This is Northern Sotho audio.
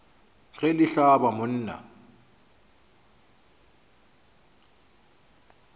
ge le hlaba mo nna